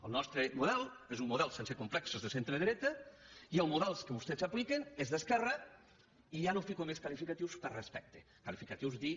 el nostre model és un model sense complexos de centre dreta i el model que vostès apliquen és d’esquerra i ja no fico més qualificatius per respecte qualificatius dir